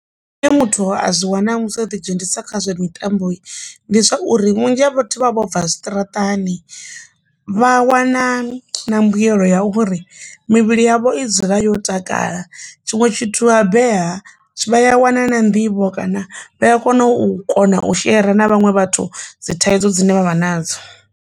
Nṋe muthu a zwi wana musi o ḓi dzhenisa kha zwa mitambo ndi zwauri vhunzhi ha vhathu vha vho bva zwiṱaraṱani vha wana na mbuyelo ya uri mivhili yavho i dzule yo takala tshiṅwe tshithu vha beba vha ya wana na nḓivho kana vha ya kona u kona u shera na vhaṅwe vhathu dzi thaidzo dzine vha vha nadzo.